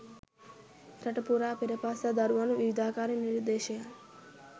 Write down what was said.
රට පුරා පෙර පාසල් දරුවන් විවිධාකාරයේ නිර්දේශයන්